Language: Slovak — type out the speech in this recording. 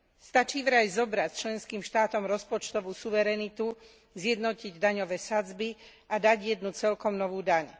Stačí vraj zobrať členským štátom rozpočtovú suverenitu, zjednotiť daňové sadzby a dať jednu celkom novú daň.